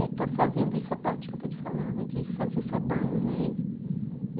E estou fazendo isso, a parte que eu estou te falando, de fazer sabão, né? Uhum.